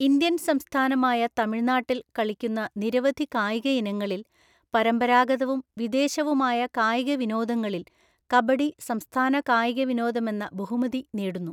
Indian സംസ്ഥാനമായ തമിഴ്‌നാട്ടിൽ കളിക്കുന്ന നിരവധി കായിക ഇനങ്ങളിൽ, പരമ്പരാഗതവും വിദേശവുമായ കായിക വിനോദങ്ങളിൽ, കബഡി സംസ്ഥാന കായിക വിനോദമെന്ന ബഹുമതി നേടുന്നു.